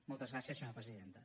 moltes gràcies senyora presidenta